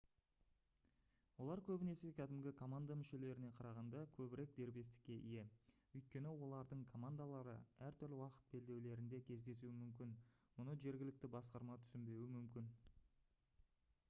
олар көбінесе кәдімгі команда мүшелеріне қарағанда көбірек дербестікке ие өйткені олардың командалары әртүрлі уақыт белдеулерінде кездесуі мүмкін мұны жергілікті басқарма түсінбеуі мүмкін